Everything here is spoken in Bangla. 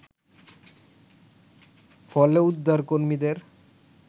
ফলে, উদ্ধারকর্মীদের